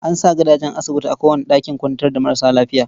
An sa gadajen asibiti a kowane ɗakin kwantar da marasa lafiya.